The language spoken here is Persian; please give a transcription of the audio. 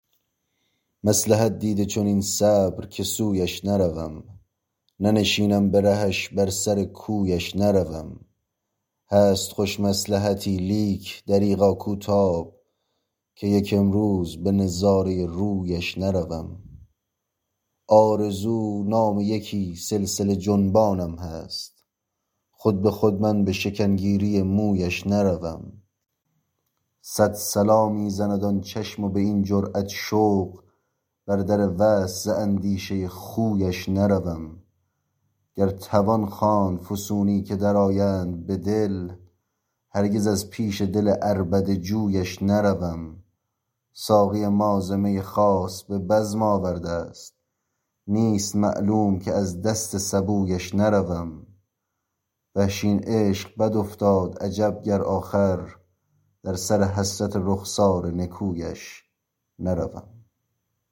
مصلحت دیده چنین صبر که سویش نروم ننشینم به رهش بر سر کویش نروم هست خوش مصلحتی لیک دریغا کو تاب که یک امروز به نظاره رویش نروم آرزو نام یکی سلسله جنبانم هست خود به خود من به شکن گیری مویش نروم سد صلا می زند آن چشم و به این جرأت شوق بر در وصل ز اندیشه خویش نروم گر توان خواند فسونی که در آیند به دل هرگز از پیش دل عربده جویش نروم ساقی ما ز می خاص به بزم آورده است نیست معلوم که از دست سبویش نروم وحشی این عشق بد افتاد عجب گر آخر در سر حسرت رخسار نکویش نروم